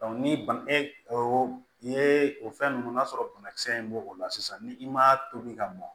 ni bana e o yee o fɛn ninnu n'a sɔrɔ banakisɛ in b'o o la sisan ni i ma tobi ka mɔn